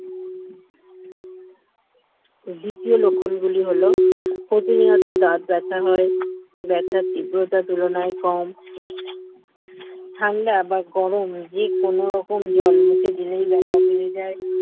দ্বিতীয় লক্ষণ গুলি হল প্রতিনিয়ত দাঁত ব্যাথা হয় ব্যথা তীব্রতার তুলনায় কম ঠান্ডা বা গরম যে কোন রকম জল মুখে দিলেই ব্যথা বেড়ে যায়